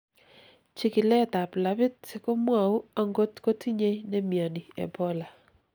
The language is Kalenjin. chikilet ab labit komwou angot kotinyei nemioni Ebola